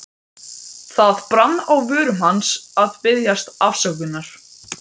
Það brann á vörum hans að biðjast afsökunar.